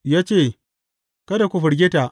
Ya ce, Kada ku firgita.